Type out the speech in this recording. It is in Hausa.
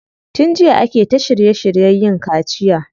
Tun jiya ake ta shirye shiryen yin kaciya.